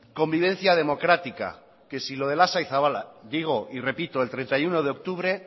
convivencia democrática que si lo de lasa y zabala digo y repito el treinta y uno de octubre